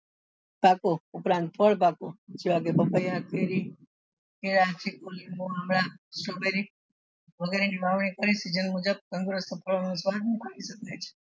પાકો ઉપરાંત ફળ પાકો જેવા કે વગેરે ની વાવણી કેઈ season મુજબ તંદુરસ્ત ફળો